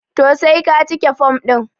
to sai ka cike form din